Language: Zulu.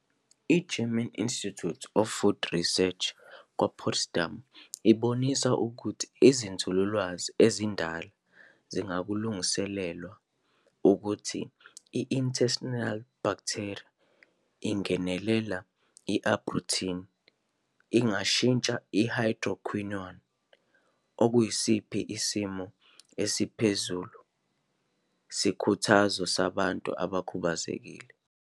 I-German Institute of Food Research kwa Potsdam ibonisa ukuthi izinzululwazi ezindala zingakulungiswa ukuthi i-intestinal bacteria izingenelela i-Arbutin ingashintsha ihydroquinone, okuyisiphi isimo esiphezulu sikhuthazo sabantu abakhubazekile.